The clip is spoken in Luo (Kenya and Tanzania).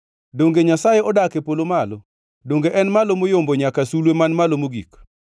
“Donge Nyasaye odak e polo malo? Donge en malo moyombo nyaka sulwe man malo mogik?